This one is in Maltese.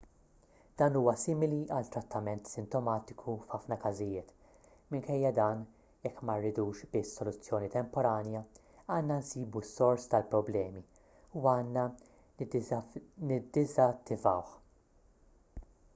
dan huwa simili għal trattament sintomatiku f'ħafna każijiet minkejja dan jekk ma rridux biss soluzzjoni temporanja għandna nsibu s-sors tal-problemi u għandna niddiżattivawh